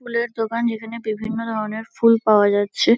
ফুলের দোকান যেখানে বিভিন্ন ধরণের ফুল পাওয়া যাচ্ছে।